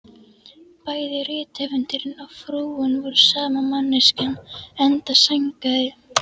Bæði rithöfundurinn og frúin voru sama manneskjan, enda sængaði